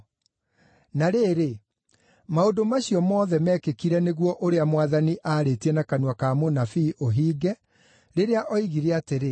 Na rĩrĩ, maũndũ macio mothe meekĩkire nĩguo ũrĩa Mwathani aarĩtie na kanua ka mũnabii ũhinge, rĩrĩa oigire atĩrĩ,